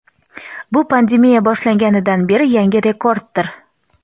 Bu pandemiya boshlanganidan beri yangi rekorddir.